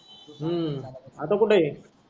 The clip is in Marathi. हम्म आता कुठ आहे,